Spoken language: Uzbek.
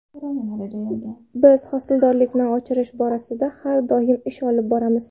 Biz hosildorlikni oshirish borasida har doim ish olib boramiz.